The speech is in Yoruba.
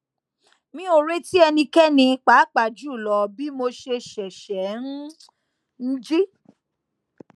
mi o reti ẹnikẹni paapaa julọ bi mo ṣe ṣẹṣẹ n ji